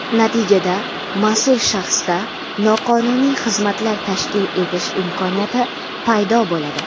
Natijada mas’ul shaxsda noqonuniy xizmatlar tashkil etish imkoniyati paydo bo‘ladi.